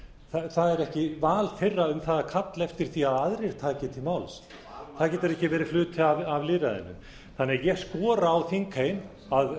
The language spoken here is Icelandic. það er ekki val þeirra að kalla eftir því að aðrir taki til máls það getur ekki verið hluti af lýðræðinu þannig að ég skora á þingheim að